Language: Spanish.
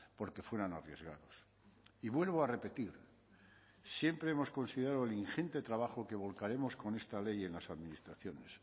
porque fueran arriesgados y vuelvo a repetir siempre hemos considerado el ingente trabajo que volcaremos con esta ley en las administraciones